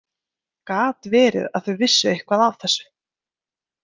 Gat verið að þau vissu eitthvað af þessu?